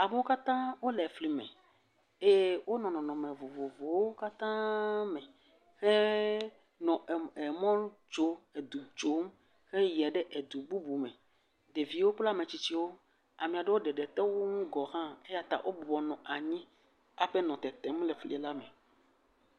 Amewo katã wonɔ flime. Eye wo nɔnɔme vovovowo katãaa me he nɔ em ɛɛ emɔ tsom, edu tsom heyiɛ ɖe edu bubume. Ɖeviwo kple ame tsitsiwo. Ame aɖewo ɖeɖite wo ŋu gɔ hã eya ta wo bɔbɔ nɔ anyi hafi nɔ tetem le flila me.